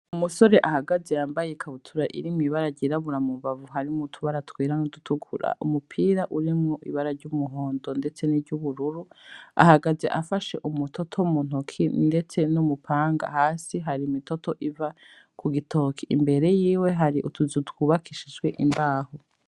Umusore ahagaze yambaye ikabutura irimwo ibara ry'irabura mu mbavu harimwo utubara twera n'udutukura, Umupira urimwo ibara ry'umuhondo ndetse n'iryubururu ahagaze afashe umutoto mu ntoki ndetse n'umupanga hasi hari imitoto iva ku gitoki imbere yiwe hari utuzu twubakishijwe imbaho.